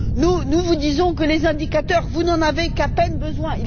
Nous vous disons que les indicateurs, vous n'en avez qu'à peine besoin.